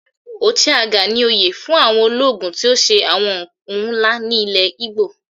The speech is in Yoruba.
"Ochiagha" ni oyè fún ológun tí ó ti ṣe àwọn ohun ńlá ní ilẹ̀ Igbo.